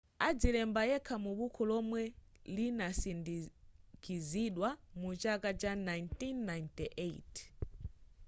adazilemba yekha mu bukhu lomwe linasindikizidwa mu chaka cha 1998